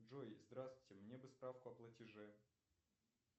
джой здравствуйте мне бы справку о платеже